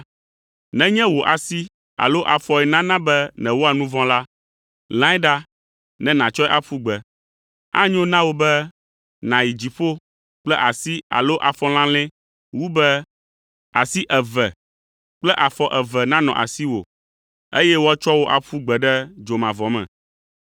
Nenye wò asi alo afɔe nana be nèwɔa nu vɔ̃ la, lãe ɖa ne nàtsɔe aƒu gbe. Anyo na wò be nàyi dziƒo kple asi alo afɔ lalɛ̃ wu be asi eve kple afɔ eve nanɔ asiwò, eye woatsɔ wò aƒu gbe ɖe dzomavɔ me.